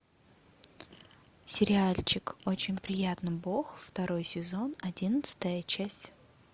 сериальчик очень приятно бог второй сезон одиннадцатая часть